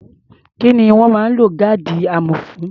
Kí ni wọ́n máa ń lo gáàdì amọ̀ fún?